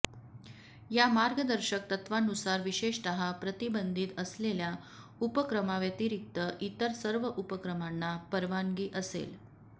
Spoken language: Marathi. या मार्गदर्शक तत्त्वांनुसार विशेषतः प्रतिबंधित असलेल्या उपक्रमांव्यतिरिक्त इतर सर्व उपक्रमांना परवानगी असेल